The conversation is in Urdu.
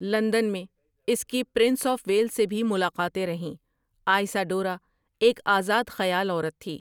لندن میں اس کی پرنس آف ویلس سے بھی ملاقاتیں رہیں آئسا ڈورا ایک آزاد خیال عورت تھی ۔